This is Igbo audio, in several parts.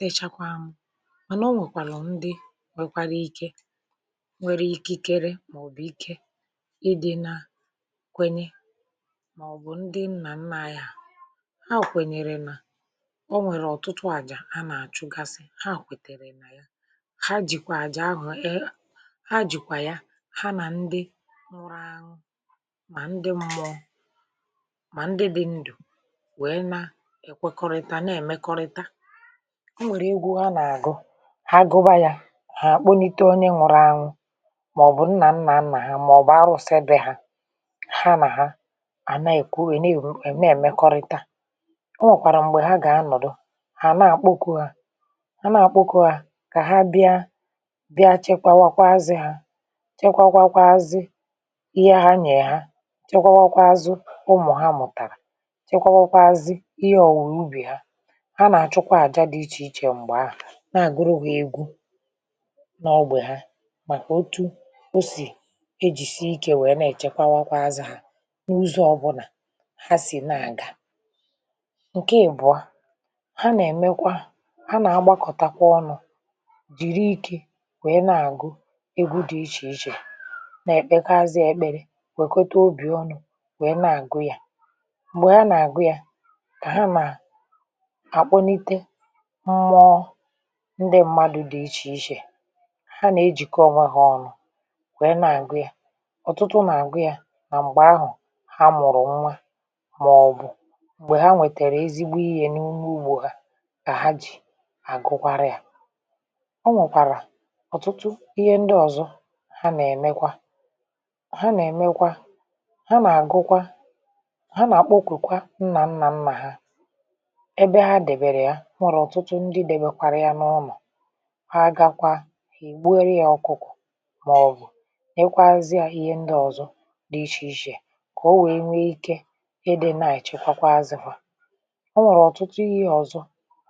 Dicha kwà mànà o nwèkwàlà ndị nwėkwara ike nwere ikikere màọbụ̀ ike ịdị̇ na kwenye màọbụ̀ ndị nnà nna anyị ha. Ha kwènyèrè nà o nwèrè ọ̀tụtụ àjà a nà-àchụgasị, ha kwètèrè nà ya, ha jìkwà àjà ahụ̀, e ha jìkwà ya, ha nà ndị nwụrọ anwụ mà ndị mmụọ mà ndị dị ndụ̀ wèe na ekwekọrịta na-èmekọrịta. Ha nwèrè egwu ha nà-agu. Ha gụba yȧ, ha kpụlite onye nwụrụ anwụ màọ̀bụ̀ nnà nnà nnà ha màọ̀bụ̀ arụ̇si ebè ha, ha nà ha àna èkwu è na èmekọrịta. O nwèkwàrà m̀gbè ha gà anọ̀dụ ha nà àkpoku̇ ha, ha nà àkpoku̇ ha kà ha bịa, bịa chekwawakwa az ha, chekwakwa zi ihe ha nyerè hà, chekwa wakwa azu̇ ụmụ̀ ha mụ̀tàrà, chekwa wakwa azi ihe ọ̀wụ̀ ubì ha. Ha nà-achu kwà àjà di ichè ichè mgbè ahụ na-agụrụ ha egwụ n’ọgbè ha, màkà otu o sì ejìsi ikė wèe na-èchekwawakwa azụ̇ hà n’ụzọ̇ ọbụlà ha sì na-àga. Nkè Ibụọ, ha nà-èmekwa, ha nà-agbakọ̀takwa ọnụ̇, jị̀ri ikė wèe na-àgụ egwu dị̀ ichèichè na-èkpekazị èkpere, wèkweta obì ọnụ̇ wèe na-àgụ yȧ. Mgbè ha nà-àgụ yȧ, kà ha na akpolite mmụọ ndị mmadụ̇ dị ichè ichè. Ha nà-ejìkọ ọnwẹ ha ọnụ̇ wèe na-àgụ ya. ọ̀tụtụ nà-àgụ ya nà m̀gbè ahụ̀ ha mụ̀rụ̀ nwa màọbụ̀ m̀gbè ha nwètèrè ezigbo ihė n’ime ugbȯ ha, ka ha jì àgụkwara yȧ. O nwèkwàrà ọ̀tụtụ ihe ndị ọ̀zọ ha nà-èmekwa. Ha nà-èmekwa, ha nà-àgụkwa, ha nà-akpokwukwa nnà nnà nnà ha ebe ha dèbèrè ya. O nwèrè ọtụtu ǹdi dobekwara ya n'ulo, ha gakwa, ha gborie ya ọ̀kụ̀kụ̀ mà ọ̀ bụ̀ nyekwazie ihe ndi ọ̀zọ di ichèichè kà o wèe nwee ike idị naà echekwakwa azịfà. O nwèrè ọ̀tụtụ ihe ọ̀zọ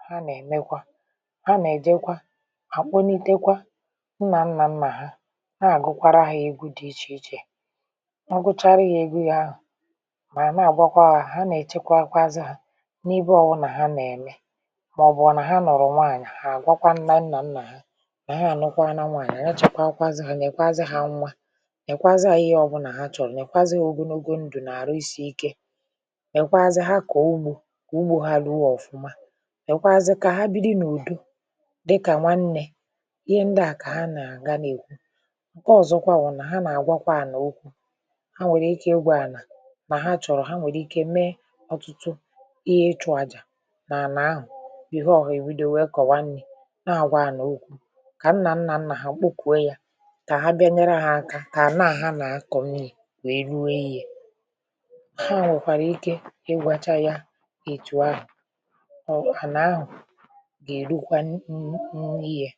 ha nà-èmekwa, ha nà-èjekwa àkpụniteekwa nnà nnà nnà ha, na-àgụkwara ha egwu dị ichèichè. Ha gụchara ya egwu ya ahụ̀ mà na-àgbakwa hȧ, ha nà-èchekwa akwụkwȧ azị hȧ n’ibe ọbụnà ha nà-ème. Màọbụ na ha luru nwaànyị, ha gwakwà nnà nnà nnà ha, nà ha anụkwa na nwaànyị, nà ha chekwaa kwaazị̀ hà, nye kwazị̀ hà nwa, nyekwazị̀ hà ihe ọbụ̀ nà ha chọ̀rọ̀, nyekwazị̀ hà ogologo ndụ̀ nà-àrụ isi̇ ike, nyekwazị̀, ha kọ̀ ugbȯ kọ̀ ugbȯ ha luo ọ̀fụma, nyekwazị̀ kà ha bili n’ùdo dịkà nwannė. Ihe ndị à kà ha nà-àga n’èkwu. Nkè ọ̀zọkwa bụ̀ nà, ha nà-àgwakwa ànà okwu, ha nwèrè ike igwa ànà nà ha chọ̀rọ̀, ha nwèrè ike mee ọtụtụ ihe ịchụ̇ àjà nà ànà ahụ̀ behore ha ebido nwe kowa nni. Nà-àgwa ana òkwù kà nnà nnà nnà hà kpukwùo ya, kà ha bịa nyere ha aka kà anà ha nà-akọ̀ nnii̇ wèe ruo ihe. Ha wèkwàrà ike igwacha ya ètù ahù, o ànà ahù gà-èrukwa n nii̇ ya.